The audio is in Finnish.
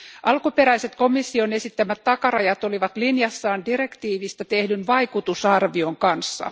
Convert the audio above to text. Alkuperäiset komission esittämät takarajat olivat linjassaan direktiivistä tehdyn vaikutusarvion kanssa.